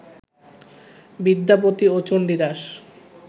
বিদ্যাপতি ও চন্ডীদাস